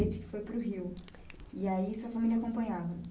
Desde que foi para o Rio. E aí a sua família acompanhava